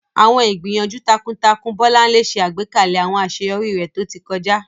Àwọn ìgbìyànjú takuntakun Bolanle ṣe àgbékalẹ̀ àwọn àṣeyọrí rẹ̀ tó ti kọjá.